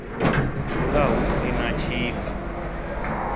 dzula hu si na tshika